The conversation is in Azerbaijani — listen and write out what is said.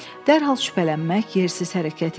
Dərhal şübhələnmək yersiz hərəkət idi.